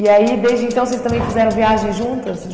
aí, desde então, vocês também fizeram viagens juntas?